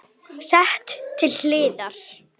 Sett til hliðar.